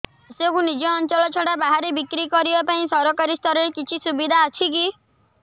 ଶସ୍ୟକୁ ନିଜ ଅଞ୍ଚଳ ଛଡା ବାହାରେ ବିକ୍ରି କରିବା ପାଇଁ ସରକାରୀ ସ୍ତରରେ କିଛି ସୁବିଧା ଅଛି କି